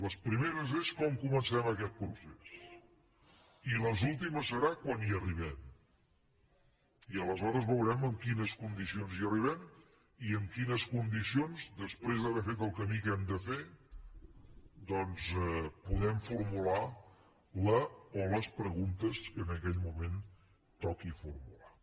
les primeres són com comencem aquest procés i les últimes seran quan hi arribem i aleshores veurem en quines condicions hi arribem i en quines condicions després d’haver fet el camí que hem de fer doncs podem formular la o les preguntes que en aquell moment toqui formular